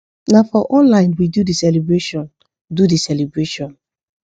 na for online we do the celebration do the celebration